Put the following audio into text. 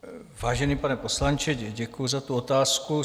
Vážený pane poslanče, děkuji za tu otázku.